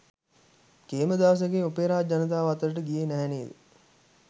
කේමදාසගේ opera ජනතාව අතරට ගියේ නැහැ නේද.